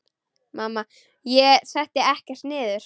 Mamma: Ég setti ekkert niður!